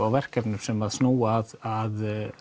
á verkefnum sem snúa að